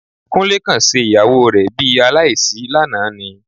Kúnlé kàn ṣe ìyàwó rẹ bi aláìsí lánàá ni